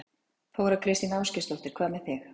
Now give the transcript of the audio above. Þóra Kristín Ásgeirsdóttir: Hvað með þig?